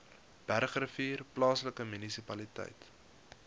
bergrivier plaaslike munisipaliteit